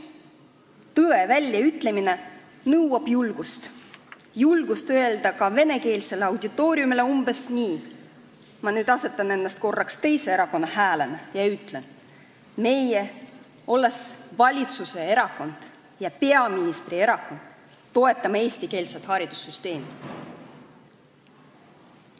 Tõe väljaütlemine nõuab julgust, julgust öelda ka venekeelsele auditooriumile umbes nii : meie, olles valitsuserakond ja peaministrierakond, toetame eestikeelset haridussüsteemi.